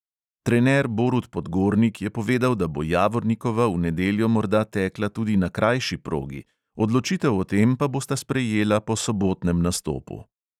Trener borut podgornik je povedal, da bo javornikova v nedeljo morda tekla tudi na krajši progi, odločitev o tem pa bosta sprejela po sobotnem nastopu.